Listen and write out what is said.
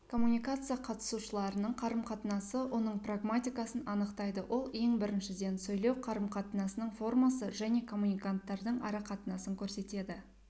коммуникация қатысушыларының қарым-қатынасы оның прагматикасын анықтайды ол ең біріншіден сөйлеу қарым-қатынасының формасы және коммуниканттардың ара-қатынасын көрсетеді